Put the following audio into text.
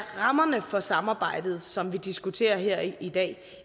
rammerne for samarbejdet som vi diskuterer her i dag